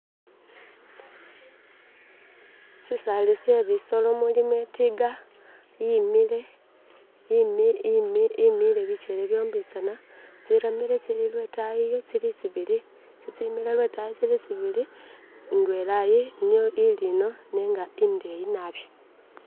Sisali she bisolo mulimo itiga yimile bikyele byombitsana tsiramire tsili lwetayi iyo tsili tsibili tsitsimile lwetayi iyo tsili lwetayi iyo tsili tsibili indwela iyi ili ino nenga indeyi naabi.